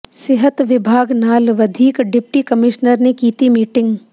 ਸਿਹਤ ਵਿਭਾਗ ਨਾਲ ਵਧੀਕ ਡਿਪਟੀ ਕਮਿਸ਼ਨਰ ਨੇ ਕੀਤੀ ਮੀਟਿੰਗ